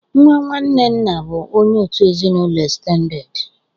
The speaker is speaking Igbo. Nwa nwanne nna bụ onye òtù ezinụlọ estendedị.